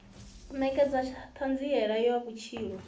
u nekedza thanziela ya vhutshilo